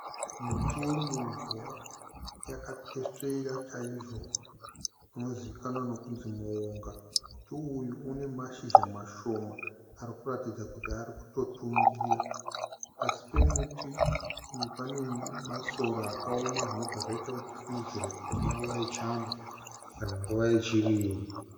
Muti wemunzwa yakatesvera chaizvo unozikanwa nekunzi muunga. Muti uyu une mashizha mashoma ari kutotungira, pasi pemuti uyu pane masora akaoma zvinoratidza kuti inguva yechando kana nguva yechirimo